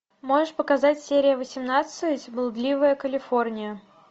можешь показать серия восемнадцать блудливая калифорния